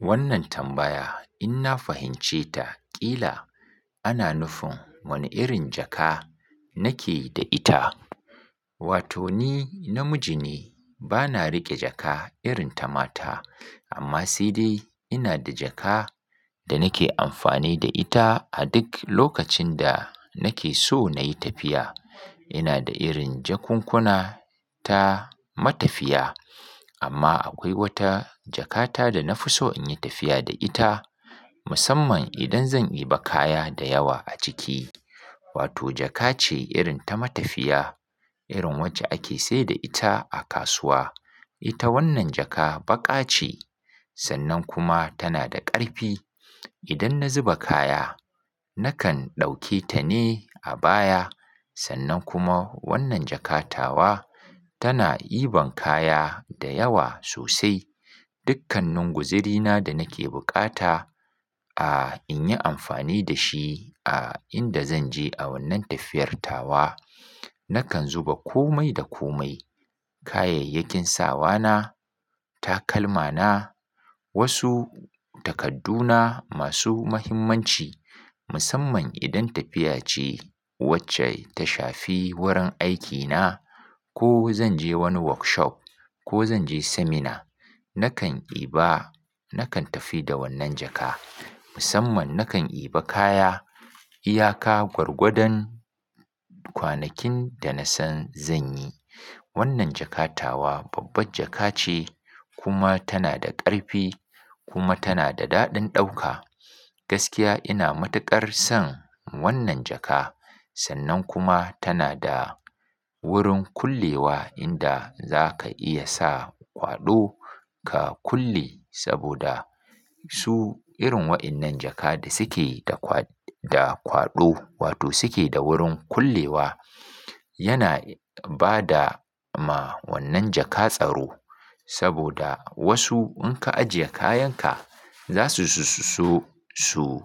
Wannan tambaya in na fahimce ta, ƙila ana nufin wane irin jaka nake da ita. Wato ni namiji ne, bana riƙe jaka irin ta mata amma sai dai ina da jaka da nake amfani da ita a duk lokacin da nake so na yi tafiya. Ina da irin jakunkuna ta matafiya amma akwai wata jakata da na fi so in yi tafiya da ita musamman idan zan iba kaya da yawa a ciki. Wato jaka ce irin ta matafiya, irin wace ake sai da ita a kasuwa. Ita wannan jaka baƙa ce sannan kuma tana da ƙarfi. Idan na zuba kaya nakan ɗauke ta ne a baya sannan kuma wannan jaka tawa tana iban kaya da yawa sosai. Dukkanin guzurina da nake bukata a in yi amfani da shi a inda zan je a wannan tafiyar tawa, nakan zuba komai da komai. Kayayyakin sawa na, takalma na, wasu takadduna masu mahimmanci musamman idan tafiya ce wacce ta shafi wurin aikina ko zan je wani workshop ko zan je seminar, nakan iba-- nakan tafi da wannan jaka musamman nakan iba kaya, iyaka, gwargwadon kwanakin da na san zan yi. Wannan jakatawa babbar jaka ce kuma tana da ƙarfi kuma tana da daɗin ɗauka. Gaskiya ina matuƙar son wannan jaka sannan kuma tana da wurin kullewa inda za ka iya sa kwaɗo ka kulle saboda su irin wayannan jaka da suke da kwaɗ-- da kwaɗo wato suke da wurin kullewa, yana ba da ma wannan jaka tsaro saboda wasu in ka ajiye kayanka za su su su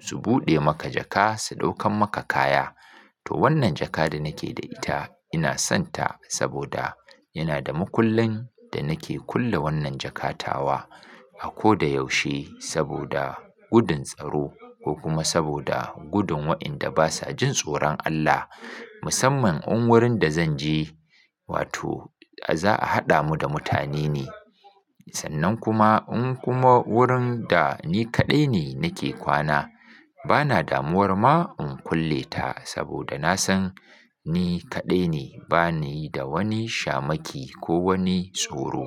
su buɗe maka jaka su ɗaukan maka kaya. To wannan jaka da nake da ita ina son ta saboda yana da makullen da nake kulle wannan jaka tawa a ko da yaushe saboda gudun tsaro ko kuma saboda gudun wayanda basa jin tsoron Allah musamman in wurin da zan je wato za a haɗa mu da mutane ne sannan kuma in kuma wurin da ni kaɗai ne nake kwana bana damuwar ma in kulle ta saboda na san ni kaɗai ne bani da wani shamaki ko wani tsoro.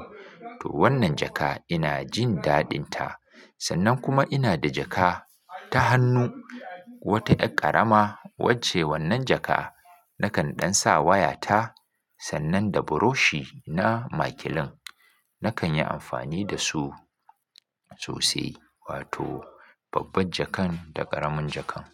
To wannan jaka ina jin daɗinta sannan kuma ina da jaka ta hannu wata er ƙarama wacce wannan jaka nakan ɗan sa waya ta sannan da buroshi na makilin. Nakan yi amfani da su sosai wato babbar jakan da ƙaramin jakan.